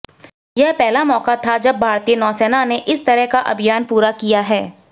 यह पहला मौका था जब भारतीय नौसेना ने इस तरह का अभियान पूरा किया है